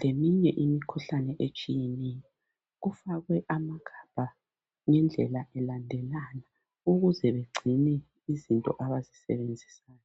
leminye imikhuhlane etshiyeneyo kufakwe ama gabha ngendlela, elandelana ukuze begcine izinto abazi sebenzisayo.